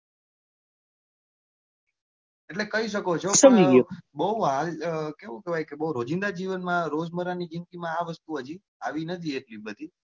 એટલે કહી શકો છો પણ બઉ રોજીંદા જીવન માં રોજબર ની જીંદગી માં આ વસ્તુ આવી નથી એટલી બધી.